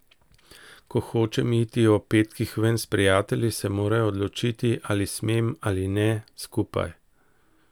Ko hočem iti ob petkih ven s prijatelji, se morajo odločiti, ali smem ali ne, skupaj.